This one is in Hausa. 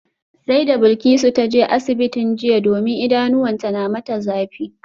Sai da Bilkisu ta je asibitin jiya domin idanuwanta na mata zafi